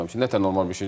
Nə normal bir şeydir?